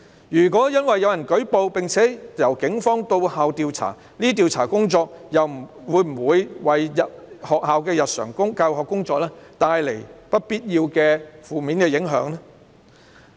如果因有人舉報而警方到校調查，這些調查工作會否為學校的日常教學工作帶來不必要的負面影響？